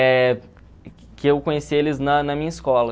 É que eu conheci eles na na minha escola.